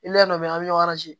dɔ bɛ yen an bɛ ɲɔgɔn